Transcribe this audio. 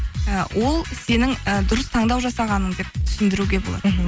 і ол сенің і дұрыс таңдау жасағаның деп түсіндіруге болады мхм